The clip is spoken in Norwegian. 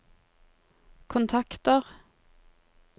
kontakter